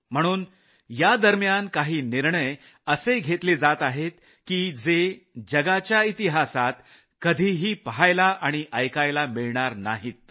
म्हणून या दरम्यान काही निर्णय असे घेतले जात आहेत की जे जगाच्या इतिहासात कधीही पहायला आणि ऐकायला मिळणार नाहीत